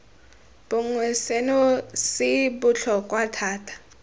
bongwe seno se botlhokwa thata